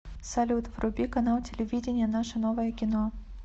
салют вруби канал телевидения наше новое кино